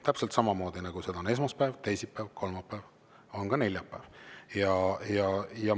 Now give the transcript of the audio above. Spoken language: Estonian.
Täpselt samamoodi, nagu seda on esmaspäev, teisipäev, kolmapäev, on ka neljapäev.